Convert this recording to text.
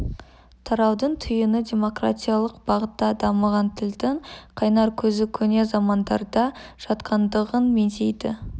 тараудың түйіні демократиялық бағытта дамыған тілдің қайнар көзі көне замандарда жатқандығын меңзейді